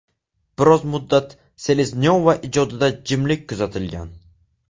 Biroz muddat Seleznyova ijodida jimlik kuzatilgan.